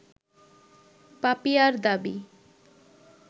পাপিয়ার দাবি